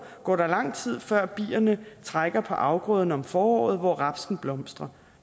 går der lang tid før bierne trækker på afgrøderne om foråret hvor rapsen blomstrer